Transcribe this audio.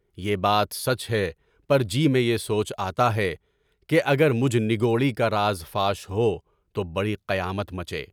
بیہ بات سچ ہے پر جی میں یہ سوچ آتا ہے کہ اگر میرا راز فاش ہوا تو بڑی قیامت مچے گی۔